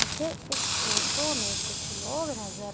मुझे इस फोटो मे कुछ लोग नज़र--